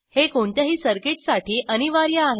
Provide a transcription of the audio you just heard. हे कोणत्याही सर्किटसाठी अनिवार्य आहे